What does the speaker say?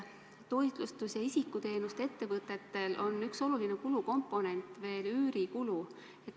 Toitlustus- ja isikuteenuste ettevõtetel on üks oluline kulukomponent üürikulu.